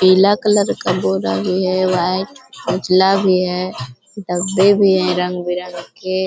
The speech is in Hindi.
पीला कलर का बोरा भी है वाइट उजला भी है डब्बे भी हैं रंग-बिरंग के।